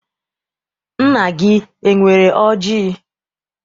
Nna gị enwere ọjị?